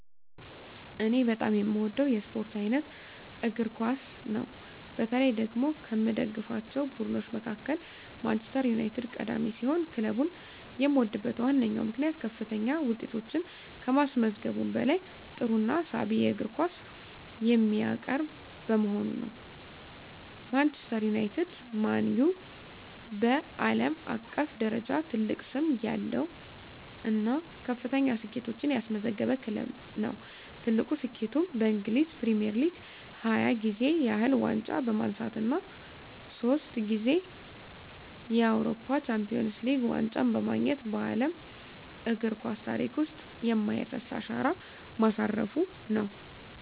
እኔ በጣም የምወደው የስፖርት አይነት እግር ኳስ ነው። በተለይ ደግሞ ከምደግፋቸው ቡድኖች መካከል ማንቸስተር ዩናይትድ ቀዳሚ ሲሆን፣ ክለቡን የምወድበት ዋነኛው ምክንያት ከፍተኛ ውጤቶችን ከማስመዝገቡም በላይ ጥሩና ሳቢ የእግር ኳስ የሚያቀርብ በመሆኑ ነው። ማንቸስተር ዩናይትድ (ማን ዩ) በዓለም አቀፍ ደረጃ ትልቅ ስም ያለው እና ከፍተኛ ስኬቶችን ያስመዘገበ ክለብ ነው። ትልቁ ስኬቱም በእንግሊዝ ፕሪሚየር ሊግ 20 ጊዜ ያህል ዋንጫ በማንሳት እና ሶስት ጊዜ የአውሮፓ ቻምፒየንስ ሊግ ዋንጫን በማግኘት በዓለም እግር ኳስ ታሪክ ውስጥ የማይረሳ አሻራ ማሳረፉ ነው።